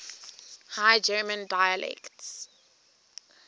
high german dialects